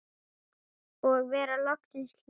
Og vera loksins hlýtt!!